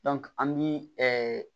an bi